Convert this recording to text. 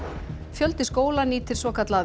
fjöldi skóla nýtir svokallað